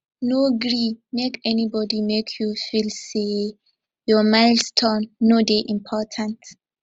no gree make anybodi make you feel sey your milestone no dey important